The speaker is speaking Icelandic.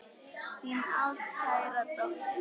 Þín ástkæra dóttir.